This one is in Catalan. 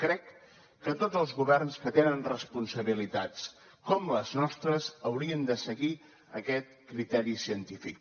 crec que tots els governs que tenen responsabilitats com les nostres haurien de seguir aquest criteri científic